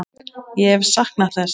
Ég hef saknað þess.